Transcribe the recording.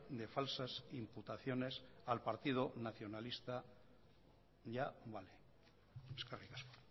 de falsas imputaciones al partido nacionalista ya vale eskerrik asko